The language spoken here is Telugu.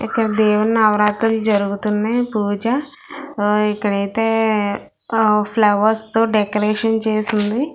ఇక్కడ దేవి నవరతి జరుగుతున్నాయ్ పూజ ఆ ఇక్కడైతే ఆ ఫ్లవర్స్ తో డెకరేషన్ చేసింది.